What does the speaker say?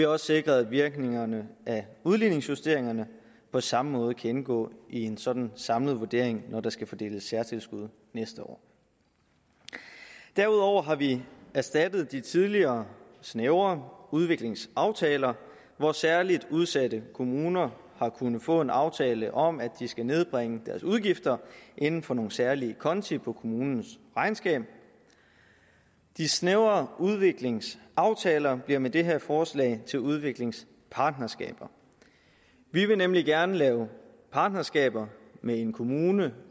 også sikret at virkningerne af udligningsjusteringerne på samme måde kan indgå i en sådan samlet vurdering når der skal fordeles særtilskud næste år derudover har vi erstattet de tidligere snævre udviklingsaftaler hvor særlig udsatte kommuner har kunnet få en aftale om at de skal nedbringe deres udgifter inden for nogle særlige konti på kommunens regnskab de snævre udviklingsaftaler bliver med det her forslag til udviklingspartnerskaber vi vil nemlig gerne lave partnerskaber med en kommune